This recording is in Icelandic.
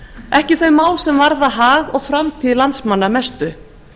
ekki þau mál sem varða hag og framtíð landsmanna mestu